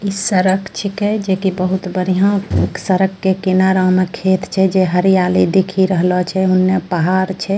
इ सरक छेके जेकि बहुत बढ़िया सरक के किनरा में खेत छे जे हरियाली दिखी रहलो छे उन्ने पहाड़ छे।